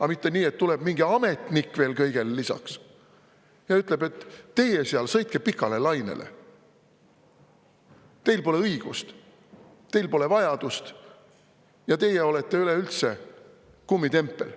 Aga mitte nii, et tuleb mingi ametnik veel kõigele lisaks ja ütleb, et teie seal, sõitke pikale lainele, teil pole õigust, teil pole vajadust ja teie olete üleüldse kummitempel.